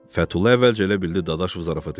Fətulla əvvəlcə elə bildi Dadaşov zarafat eləyir.